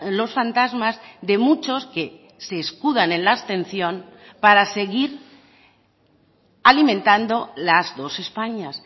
los fantasmas de muchos que se escudan en la abstención para seguir alimentando las dos españas